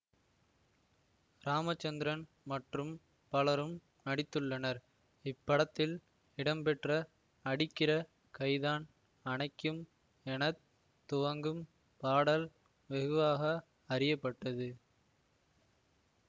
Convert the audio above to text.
ராமச்சந்திரன் மற்றும் பலரும் நடித்துள்ளனர் இப்படத்தில் இடம்பெற்ற அடிக்கிற கைதான் அணைக்கும் என துவங்கும் பாடல் வெகுவாக அறிய பட்டது